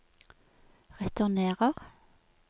returnerer